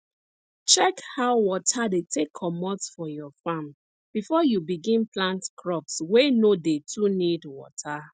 check how water dey take comot for your farm before you begin plant crops wey no dey too need water